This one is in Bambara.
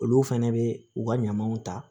Olu fɛnɛ bɛ u ka ɲamanw ta